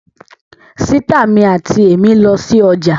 Sìtá mi àti èmí lọ sí ọjà